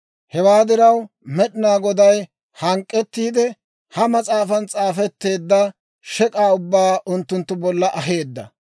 Hewaa diraw, Med'inaa Goday hank'k'ettiide, ha mas'aafan s'aafetteedda shek'aa ubbaa unttunttu bolla aheedda.